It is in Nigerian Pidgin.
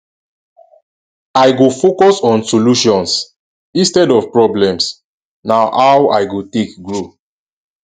i go focus on solutions instead of problems na how i go take grow